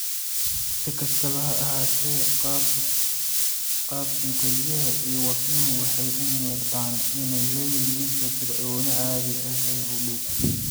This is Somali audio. Si kastaba ha ahaatee, qaabkan, kelyaha iyo wadnuhu waxay u muuqdaan inay leeyihiin firfircooni caadi ah oo u dhow.